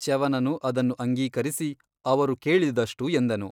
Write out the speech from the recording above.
ಚ್ಯವನನು ಅದನ್ನು ಅಂಗೀಕರಿಸಿ ಅವರು ಕೇಳಿದಷ್ಟು ಎಂದನು.